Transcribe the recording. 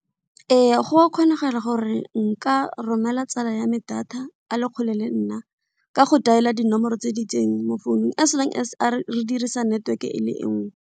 Ee, go a kgonagala gore nka romela tsala yame data a le kgole le nna ka go dial-er dinomoro tse di itseng mo founung as long as re dirisa network e le nngwe.